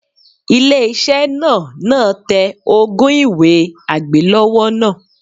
Ilé iṣẹ́ náà náà tẹ ogún un ìwé àgbélọ́wọ́ náà.